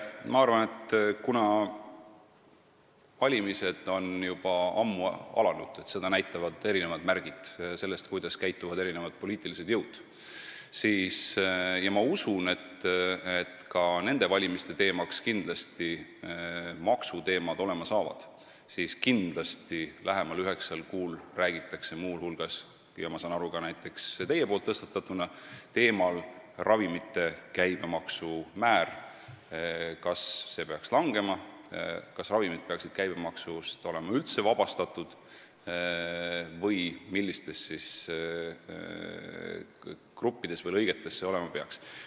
Ma arvan, et kuna valimised on juba ammu alanud – seda näitavad märgid sellest, kuidas käituvad erinevad poliitilised jõud – ja kindlasti maksud ka nende valimiste teemaks saavad, siis lähemal üheksal kuul räägitakse muu hulgas näiteks teie tõstatatud ravimite käibemaksu määrast ning sellest, kas see peaks langema, kas ravimid peaksid olema üldse käibemaksust vabastatud või kuidas see olema peaks.